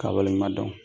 K'a waleɲuman dɔn